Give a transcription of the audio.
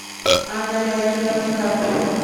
анна леонидовна карпова